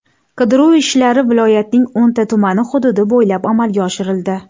Qidiruv ishlari viloyatning o‘nta tumani hududi bo‘ylab amalga oshirildi.